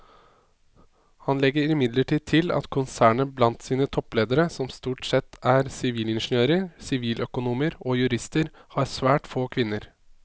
Han legger imidlertid til at konsernet blant sine toppledere som stort sette er sivilingeniører, siviløkonomer og jurister har svært få kvinner.